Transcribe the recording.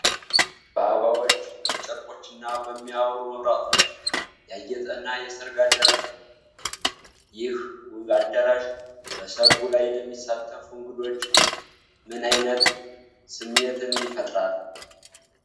በአበባዎች፣ በጨርቆችና በሚያበሩ መብራቶች ያጌጠ እና የሠርግ አዳራሽ ነው። ይህ ውብ አዳራሽ በሠርጉ ላይ ለሚሳተፉ እንግዶች ምን ዓይነት ስሜት ይፈጥራል?